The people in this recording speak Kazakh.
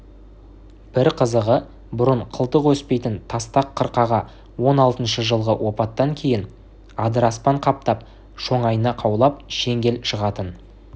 бір қызығы бұрын қылтық өспейтін тастақ қырқаға он алтыншы жылғы опаттан кейін адыраспан қаптап шоңайна қаулап шеңгел шығатын